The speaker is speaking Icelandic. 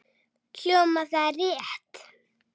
Hljómar það rétt?